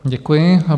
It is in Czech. Děkuji.